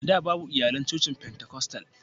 A da, babu iyalan cocin Fentekostal.